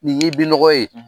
Nin ye i binnɔgɔ ye